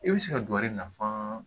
I bɛ se ka don a yɛrɛ nafan